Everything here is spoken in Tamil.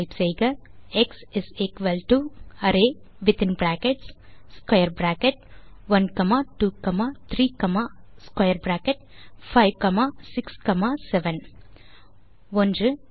டைப் செய்க X array within brackets square bracket 1 comma 2 comma 3 comma square bracket 5 comma 6 comma 7 1